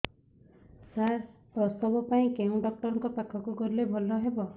ସାର ପ୍ରସବ ପାଇଁ କେଉଁ ଡକ୍ଟର ଙ୍କ ପାଖକୁ ଗଲେ ଭଲ ହେବ